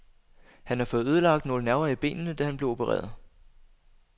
Han har fået ødelagt nogle nerver i benene, da han blev opereret.